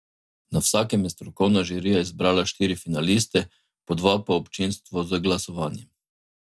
Na vsakem je strokovna žirija izbrala štiri finaliste, po dva pa občinstvo z glasovanjem.